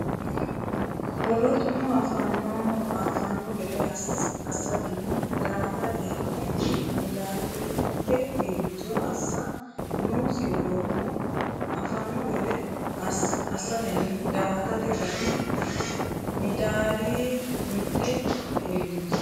Wolootuno affanno gede assatenni daa”atate ragi midaadi mitte heelliicho assa noosi Wolootuno affanno gede assatenni daa”atate ragi midaadi mitte heelliicho.